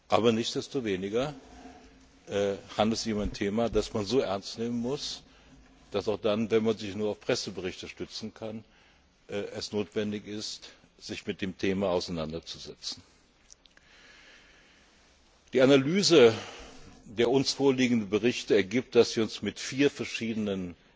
Aber nichtsdestoweniger handelt es sich um ein Thema, das man so ernst nehmen muss, dass es auch dann, wenn man sich nur auf Presseberichte stützen kann, notwendig ist, sich damit auseinanderzusetzen. Die Analyse der uns vorliegenden Berichte ergibt, dass wir uns mit vier verschiedenen